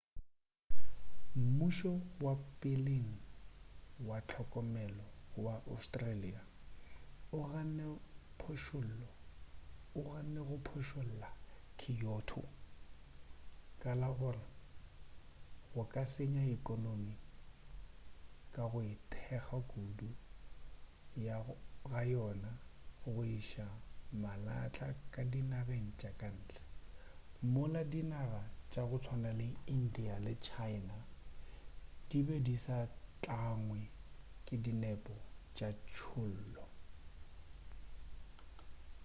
mmušo wa peleng wa hlokomelo wa australia o ganne go phošolla kyoto ka la gore go ka senya ekhonomi ka go ithekga kudu ga yona go iša malahla ka dinageng tša ka ntle mola dinaga tša go tswana le india le china di be di sa tlangwe ke dinepo tša tšhollo